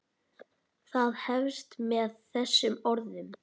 Það hefst með þessum orðum